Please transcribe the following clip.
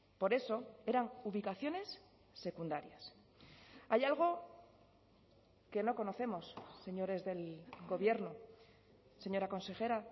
por eso eran ubicaciones secundarias hay algo que no conocemos señores del gobierno señora consejera